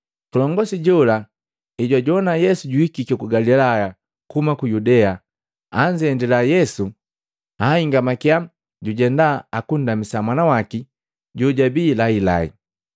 Kilongosi jola ejwajowana Yesu juhikiki ku Galilaya kuhuma ku Yudea, anzendila Yesu ahingamakiya jujenda akundamisa mwana waki jojabii lahilahi.